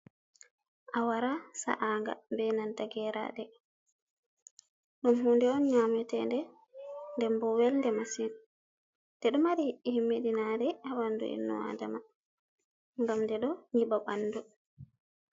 Awara sa’a nga benanta geraɗe ɗum hunde on nyametende nden bo welde masin. Nde ɗo mari himedinaɗe ha ɓandu ennu Adama ngam ɗe ɗo nyiba ɓandu.